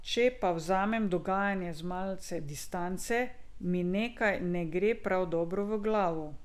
Če pa vzamem dogajanje z malce distance, mi nekaj ne gre prav dobro v glavo ...